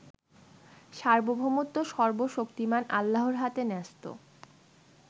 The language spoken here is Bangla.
সার্বভৌমত্ব সর্বশক্তিমান আল্লাহর হাতে ন্যস্ত